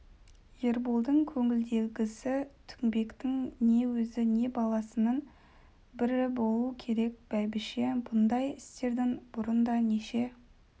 ерболдың көңіліндегісі тінбектің не өзі не баласының бірі болу керек бәйбіше бұндай істердің бұрын да неше